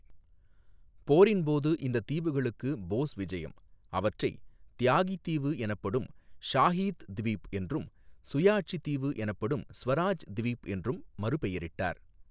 போரின் போது இந்த தீவுகளுக்கு போஸ் விஜயம் அவற்றை தியாகி தீவு எனப்படும் ஷாஹீத் த்வீப் என்றும் சுயாட்சி தீவு எனப்படும் ஸ்வராஜ் த்வீப் என்றும் மறுபெயரிட்டார்.